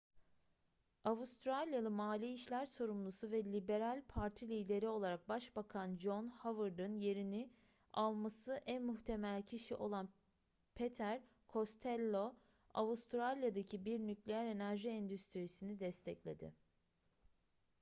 avustralyalı mali işler sorumlusu ve liberal parti lideri olarak başbakan john howard'ın yerini alması en muhtemel kişi olan peter costello avustralya'daki bir nükleer enerji endüstrisini destekledi